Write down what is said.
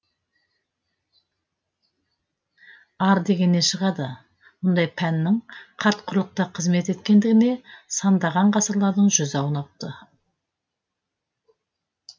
ар дегеннен шығады мұндай пәннің қарт құрлықта қызмет еткендігіне сандаған ғасырлардың жүзі аунапты